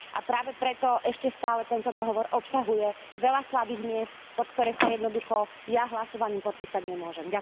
A práve preto ešte stále tento dohovor obsahuje veľa slabých miest, pod ktoré sa jednoducho ja hlasovaním podpísať nemôžem.